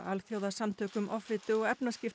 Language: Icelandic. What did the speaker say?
Alþjóðasamtökum offitu og